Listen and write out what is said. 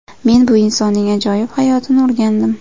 Men bu insonning ajoyib hayotini o‘rgandim.